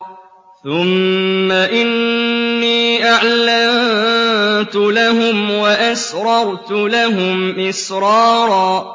ثُمَّ إِنِّي أَعْلَنتُ لَهُمْ وَأَسْرَرْتُ لَهُمْ إِسْرَارًا